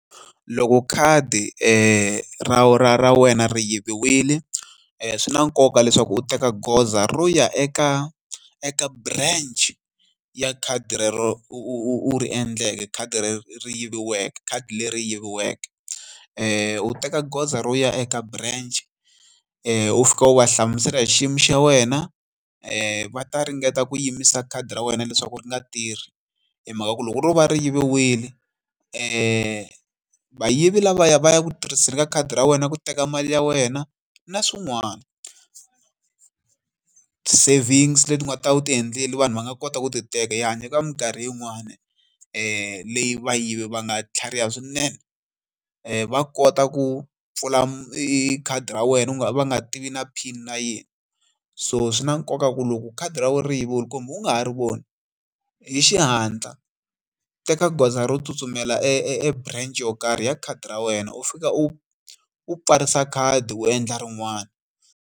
Loko khadi ra ra ra wena ri yiviwile, swi na nkoka leswaku u teka goza ro ya eka eka branch ya khadi rero u u u u ri endleke, khadi rero ri yiviweke, khadi leri yiviweke. U teka goza ro ya eka branch u fika u va hlamusela hi xiyimo xa wena va ta ringeta ku yimisa khadi ra wena leswaku ri nga tirhi. Hi mhaka ku loko ro va ri yiviwile vayivi lavaya va ya ku tirhiseni ka khadi ra wena ku teka mali ya wena na swin'wana savings leti nga ta va u ti endlela vanhu va nga kota ku ti teka. Hi hanya eka mikarhi yin'wani leyi vayivi va nga tlhariha swinene, va kota ku pfula khadi ra wena u nga va nga tivi na PIN na yin'we. So swi na nkoka ku loko khadi ra wu ri yiviwile kumbe u nga ha ri voni, hi xihatla teka goza ro tsutsumela e e e branch yo karhi ya khadi ra wena u fika u u pfarisa khadi u endla rin'wani.